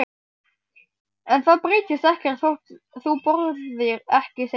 En það breytist ekkert þótt þú borðir ekki, segir mamma.